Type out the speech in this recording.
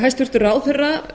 hæstvirtur ráðherra